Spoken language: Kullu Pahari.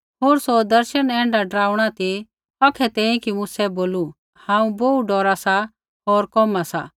होर सौ दर्शन ऐण्ढा डराउणा ती औखै तैंईंयैं कि मूसै बोलू हांऊँ बोहू डौरा सा होर कोमहा सा